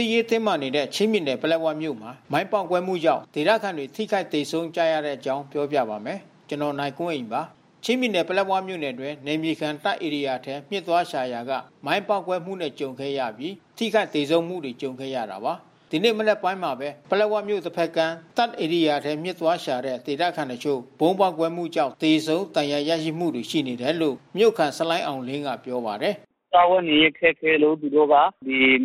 စ်ရေးတင်းမာနေတဲ့ ချင်းပြည်နယ် ပလက်ဝမြို့မှာ မိုင်းပေါက်ကွဲမှုကြောင့် ဒေသခံတွေ ထိခိုက်သေဆုံးကြရတဲ့အကြောင်းကို ဗွီအိုအေမြန်မာပိုင်းသတင်းထောက် ကိုနိုင်ကွန်းအိန်က ပြောပြပါမယ်။ ချင်းပြည်နယ် ပလက်ဝမြို့နယ်အတွင်း နယ်မြေခံတပ်ဧရိယာထဲ မျှစ်သွားရှာရာက မိုင်းပေါက်ကွဲမှုနဲ့ ကြုံခဲ့ရပြီး ထိခိုက်သေဆုံးမှုတွေ ကြုံခဲ့ရတာပါ။ ဒီနေ့ မနက်ပိုင်းမှာပဲ ပလက်ဝမြို့တဘက်ကမ်း တပ်ဧရိယာထဲ မျှစ်သွားရှိတဲ့ ဒေသခံတချို့ ဗုံးပေါက်ကွဲမှုကြောင့် သေဆုံး ဒဏ်ရာရမှုတွေ ရှိနေတယ်လို့ မြို့ခံဆလိုင်းအောင်လင်းကပြောပါတယ်။ “စားဝတ်နေရေးခက်ခဲလို့ သူတို့က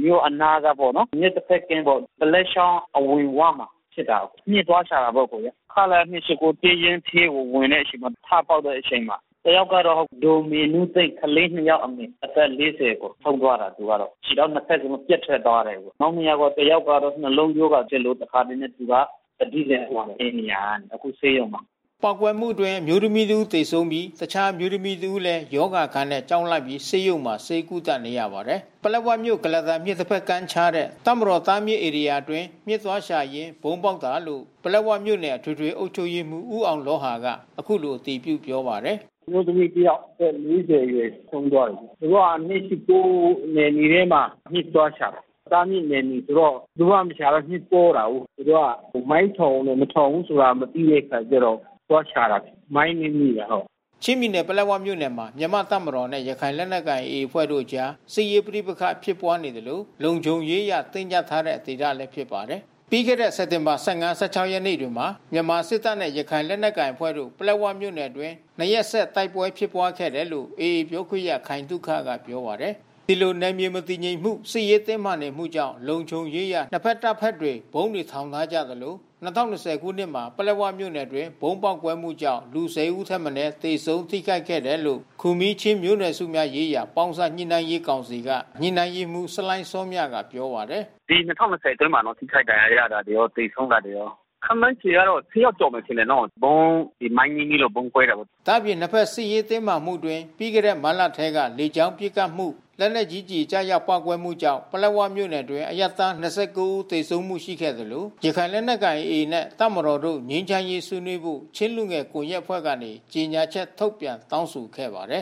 မြို့အနားကပေါ့နော်... မြစ်တဘက်ကမ်းပေါ့။ ဒလက်ချောင်းအဝင်ဝမှာဖြစ်တာ။ မျှစ် သွားရှာတာပေါ့အကိုရယ်။ ခလရ (၂၈၉) တပ်ရင်းထဲကို ဝင်တဲ့အချိန်မှာ ထပေါက်တဲ့အချိန်မှာ တယောက်ကတော့ ဒေါ်မေနုသိန်း ကလေး ၂ ယောက်အမေ အသက် ၄၀ ပေါ့။ ဆုံးသွားတယ်သူက။ ခြေထောက်နှစ်ဘက်လုံး ပြတ်ထွက် သွားတယ်။ နောက်နှစ်ယောက်က တယောက်ကတော့ နှလုံးရောဂါဖြစ်လို့ သူက သတိလစ်သွားတယ်။ အဲဒီနေရာက အခုဆေးရုံမှာ။” ပေါက်ကွဲမှုအတွင်း အမျိုးသမီးတဦးသေဆုံးပြီး တခြားအမျိုးသမီးတဦးလည်း ရောဂါအခံနဲ့ ကြောက်လန့်ပြီး ဆေးရုံမှာ ဆေးကုသနေရပါတယ်။ ပလက်ဝမြို့ ကုလားတန်မြစ်တဘက်ကမ်းမှာခြားတဲ့ တပ်မတော်တားမြစ်ဧရိယာအတွင်း မျှစ်သွားရှာရင်း ဗုံးပေါက်တာလို့ ပလက်ဝမြို့နယ်အထွေထွေအုပ်ချုပ်ရေးမှူး ဦးအောင်လောဟာက အခုလိုအတည်ပြုပြောပါတယ်။ “အမျိုးသမီးတယောက် အသက် ၄၀ အရွယ် ဆုံးသွားတယ်။ သူတို့က ၂၈၉ နယ်မြေထဲမှာမျှစ်သွားရှာတာ။ တားမြစ် နယ်မြေဆိုတော့ ဘယ်သူမှ မရှာတော့ မျှစ်ပေါတာကိုး။ သူတို့က မိုင်းထောင်တယ်၊ မထောင်ဘူး မသိတဲ့အခါကျတော့ သွားရှာတာ။ မိုင်းနင်းမိတာ။ ” ချင်းပြည်နယ် ပလက်ဝမြို့နယ်မှာ မြန်မာ့တပ်မတော်နဲ့ ရခိုင်လက်နက်ကိုင် AA အဖွဲ့တို့အကြား စစ်ရေးပဋိပက္ခဖြစ်ပွါးနေသလို လုံခြုံရေးအရ တင်းကြပ်ထားတဲ့ဒေသလည်း ဖြစ်ပါတယ်။ ပြီးခဲ့တဲ့စက်တင်ဘာ ၁၅၊ ၁၆ ရက်တွေမှာ မြန်မာစစ်တပ်နဲ့ ရခိုင်လက်နက်ကိုင် AA အဖွဲ့တို့ ပလက်ဝမြို့နယ်အတွင်း နှစ်ရက်ဆက်တိုက်ပွဲဖြစ်ပွါးခဲ့တယ်လို့ AA ပြောခွင့်ရခိုင်သုခက ပြောပါတယ်။ ဒီလိုနယ်မြေမတည်ငြိမ်မှု စစ်ရေးတင်းမာနေမှုကြောင့် လုံခြုံရေးအရ နှစ်ဘက်တပ်ဘက်တွေ ဗုံးတွေထောင်ထားကြ သလို ၂၀၂၀ ခုနှစ်မှာ ပလက်ဝမြို့နယ်အတွင်း ဗုံးပေါက်ကွဲမှုကြောင့် လူ ၁၀ ဦးထက်မနည်း သေဆုံးထိခိုက်ခဲ့တယ်လို့ ခူမီးချင်းမျိုးနွယ်စုများရေးရာ ပေါင်းစပ်ညှိနှိုင်းရေးကောင်စီက ညှိနှှိုင်းရေးမှူးဆလိုင်းစောမြကပြောပါတယ်။ “ဒီ ၂၀၂၀ အတွင်းမှာနော် ထိခိုက်ဒဏ်ရာရတာရော၊ သေဆုံးတာတွေရော ခန့်မှန်းခြေက ၁၀ ယောက်ကျော်မယ်နော်။ ဗုံး ဒီမိုင်းနင်းမိလို့ ဗုံးကွဲတာတွေ။” ဒါ့အပြင် နှစ်ဘက်စစ်ရေးတင်းမာမှုအတွင်း ပြီးခဲ့တဲ့မတ်လထဲမှာ လေကြောင်းပစ်ခတ်မှု လက်နက်ကြီးကျည်ကျရောက် ပေါက်ကွဲမှုကြောင့် ပလက်ဝမြို့နယ်အတွင်း အရပ်သား ၂၉ ဦးသေဆုံးမှု ရှိခဲ့သလို ရခိုင်လက်နက်ကိုင် AA နှင့်တပ်မတော်တို့ ငြိမ်းချမ်းရေးဆွေးနွေးဖို့ ချင်းလူငယ်ကွန်ရက်အဖွဲ့ကနေ ကြေညာချက်ထုတ်ပြန်တောင်းဆိုခဲ့ပါတယ်